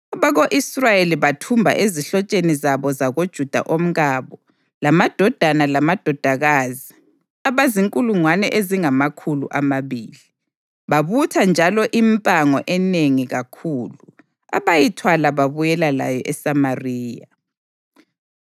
Abako-Israyeli bathumba ezihlotsheni zabo zakoJuda omkabo, lamadodana lamadodakazi abazinkulungwane ezingamakhulu amabili. Babutha njalo impango enengi kakhulu, abayithwala babuyela layo eSamariya.